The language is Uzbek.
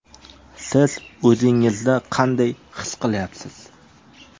Siz o‘zingizni qanday his qilyapsiz?